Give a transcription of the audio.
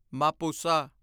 Mapusa